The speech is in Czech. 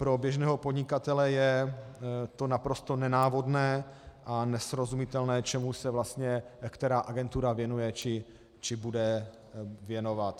Pro běžného podnikatele je to naprosto nenávodné a nesrozumitelné, čemu se vlastně která agentura věnuje či bude věnovat.